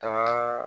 Kaba